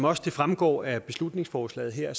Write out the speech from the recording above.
også fremgår af beslutningsforslaget her